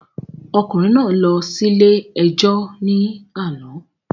Ọkùnrin náà lọ síle ẹjọ́ ní àná